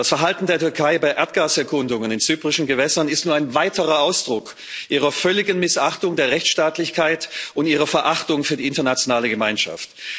Das Verhalten der Türkei bei Erdgaserkundungen in zyprischen Gewässern ist nur ein weiterer Ausdruck ihrer völligen Missachtung der Rechtsstaatlichkeit und ihrer Verachtung für die internationale Gemeinschaft.